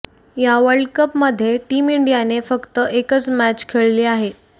या वर्ल्ड कपमध्ये टीम इंडियाने फक्त एकच मॅच खेळली आहे